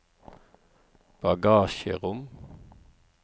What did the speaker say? bagasjerom